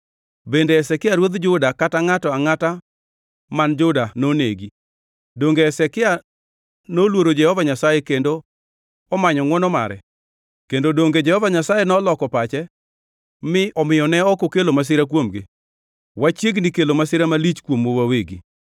Bende Hezekia ruodh Juda kata ngʼato angʼata man Juda nonegi? Donge Hezekia noluoro Jehova Nyasaye kendo omanyo ngʼwono mare? Kendo donge Jehova Nyasaye noloko pache, mi omiyo ne ok okelo masira kuomgi? Wachiegni kelo masira malich kuomwa wawegi!”